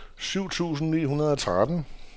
syv tusind ni hundrede og tretten